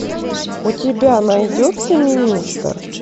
у тебя найдется министр